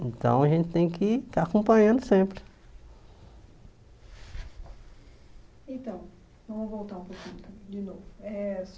Então, a gente tem que estar acompanhando sempre. Então vamos voltar um pouquinho de novo eh